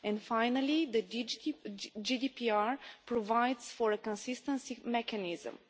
Finally, the GDPR provides for a consistency mechanism.